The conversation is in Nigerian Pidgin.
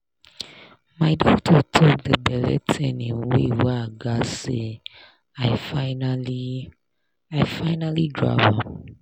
my doctor talk the belle thing in way wey i gatz say i finally i finally grab am.